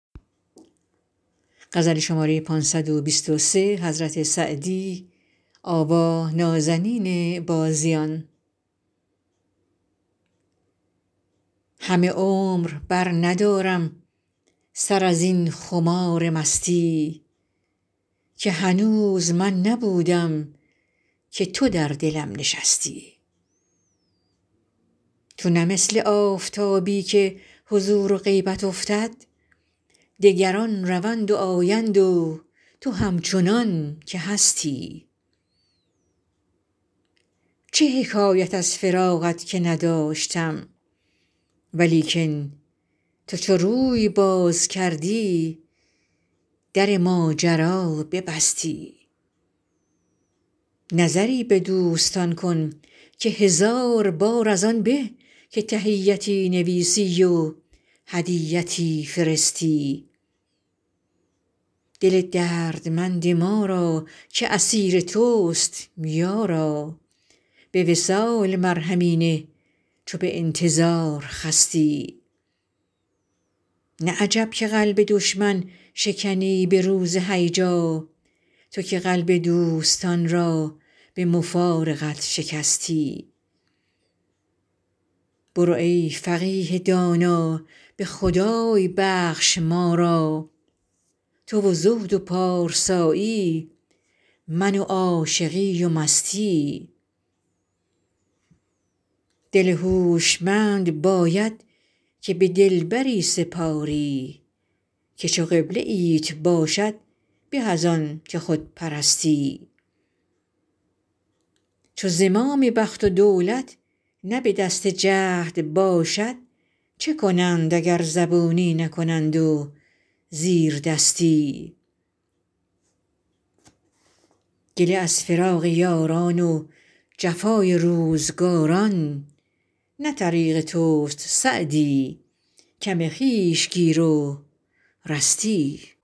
همه عمر برندارم سر از این خمار مستی که هنوز من نبودم که تو در دلم نشستی تو نه مثل آفتابی که حضور و غیبت افتد دگران روند و آیند و تو همچنان که هستی چه حکایت از فراقت که نداشتم ولیکن تو چو روی باز کردی در ماجرا ببستی نظری به دوستان کن که هزار بار از آن به که تحیتی نویسی و هدیتی فرستی دل دردمند ما را که اسیر توست یارا به وصال مرهمی نه چو به انتظار خستی نه عجب که قلب دشمن شکنی به روز هیجا تو که قلب دوستان را به مفارقت شکستی برو ای فقیه دانا به خدای بخش ما را تو و زهد و پارسایی من و عاشقی و مستی دل هوشمند باید که به دلبری سپاری که چو قبله ایت باشد به از آن که خود پرستی چو زمام بخت و دولت نه به دست جهد باشد چه کنند اگر زبونی نکنند و زیردستی گله از فراق یاران و جفای روزگاران نه طریق توست سعدی کم خویش گیر و رستی